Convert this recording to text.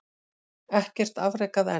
Ekkert afrekað enn